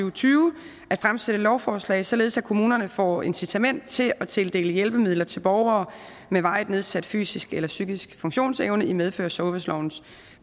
og tyve at fremsætte lovforslag således at kommunerne får incitament til at tildele hjælpemidler til borgere med varigt nedsat fysisk eller psykisk funktionsevne i medfør af sundhedslovens